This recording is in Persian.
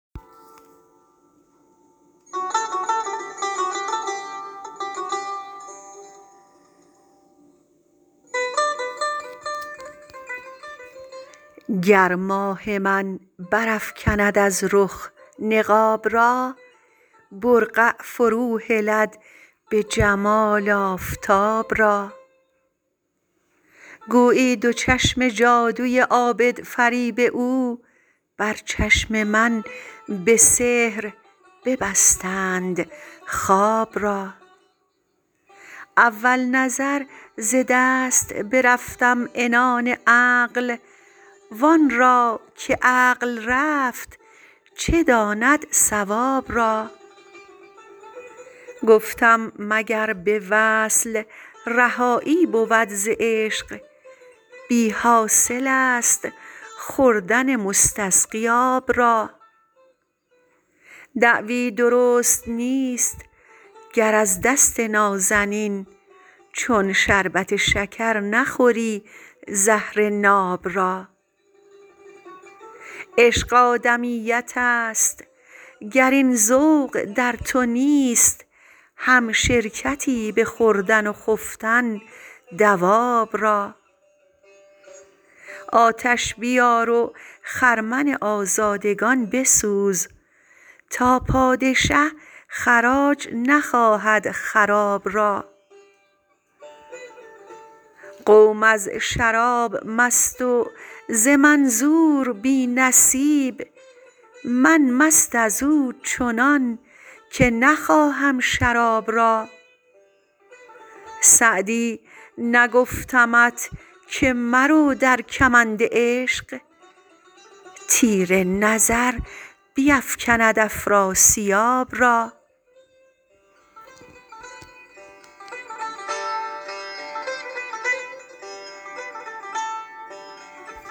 گر ماه من برافکند از رخ نقاب را برقع فروهلد به جمال آفتاب را گویی دو چشم جادوی عابدفریب او بر چشم من به سحر ببستند خواب را اول نظر ز دست برفتم عنان عقل وان را که عقل رفت چه داند صواب را گفتم مگر به وصل رهایی بود ز عشق بی حاصل است خوردن مستسقی آب را دعوی درست نیست گر از دست نازنین چون شربت شکر نخوری زهر ناب را عشق آدمیت است گر این ذوق در تو نیست همشرکتی به خوردن و خفتن دواب را آتش بیار و خرمن آزادگان بسوز تا پادشه خراج نخواهد خراب را قوم از شراب مست و ز منظور بی نصیب من مست از او چنان که نخواهم شراب را سعدی نگفتمت که مرو در کمند عشق تیر نظر بیفکند افراسیاب را